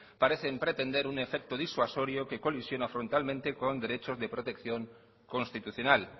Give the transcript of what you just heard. parecen pretender un efecto disuasorio que colisiona frontalmente con derechos de protección constitucional